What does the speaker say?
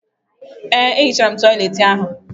Ee, m hichara toịletị ahụ.